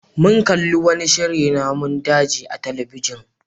Mun kalli wani shirin namun daji a talabijin.